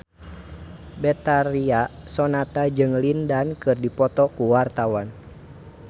Betharia Sonata jeung Lin Dan keur dipoto ku wartawan